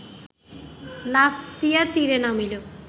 লাফ দিয়া তীরে নামিল